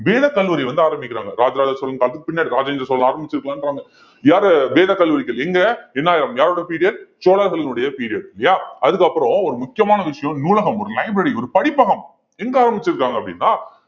வேதக்கல்லூரி வந்து ஆரம்பிக்கிறாங்க ராஜராஜசோழன் காலத்துக்கு பின்னாடி ராஜேந்திர சோழன் ஆரம்பிச்சிருக்கான்றாங்க யாரு வேதக் கல்லூரிகள் எங்க எண்ணாயிரம் யாரோட period சோழர்களினுடைய period இல்லையா அதுக்கப்புறம் ஒரு முக்கியமான விஷயம் நூலகம் ஒரு library ஒரு படிப்பகம் எங்க ஆரம்பிச்சிருக்காங்க அப்படின்னா